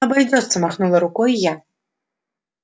обойдётся махнула рукой я